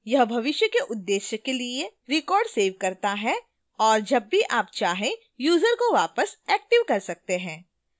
यह भविष्य के उद्देश्यों के लिए records सेव करता है और जब भी आप चाहें यूजर को वापस एक्टिव कर सकते हैं